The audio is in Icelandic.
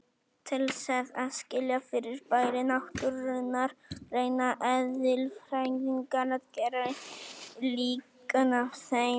Til þess að skilja fyrirbæri náttúrunnar reyna eðlisfræðingar að gera líkön af þeim.